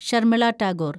Sharmila Tagore